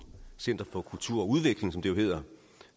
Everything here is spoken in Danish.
center for kultur og udvikling som det jo hedder